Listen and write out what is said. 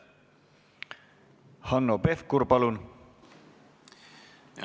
Hanno Pevkur, palun!